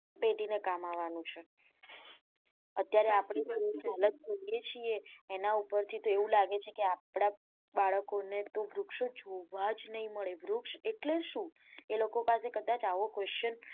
પેઢી ને કામ આવાનું છે અત્યારે આપડી છીએ અને ઉપર થી તો એવું લાગે છે કે આપડા બાળકો ને તો વૃક્ષો જોવા જ નાઈ મળે વૃક્ષ એટલે શું એ લોકો પાસે કદાચ આવો question